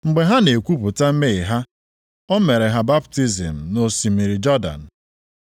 Mgbe ha na-ekwupụta mmehie ha, o mere ha baptizim nʼosimiri Jọdan.